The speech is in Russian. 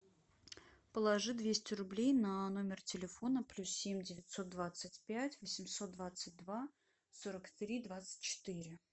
положи двести рублей на номер телефона плюс семь девятьсот двадцать пять восемьсот двадцать два сорок три двадцать четыре